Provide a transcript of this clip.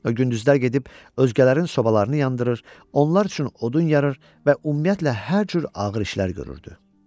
O gündüzlər gedib özgələrin sobalarını yandırır, onlar üçün odun yarır və ümumiyyətlə hər cür ağır işlər görürdü.